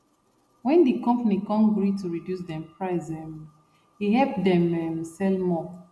wen di company come gree to reduce dem price um e help them um sell more